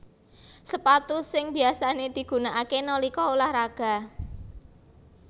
Sepatu sing biasané digunakaké nalika ulah raga